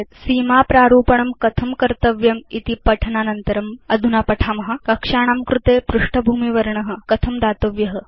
सीमा प्रारूपणं कथं कर्तव्यमिति पठनानन्तरम् अधुना पठाम कक्षाणां कृते पृष्ठभूमिवर्ण कथं दातव्य इति